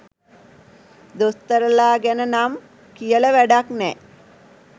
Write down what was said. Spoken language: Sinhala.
දොස්තරලා ගැන නම් කියල වැඩක් නෑ.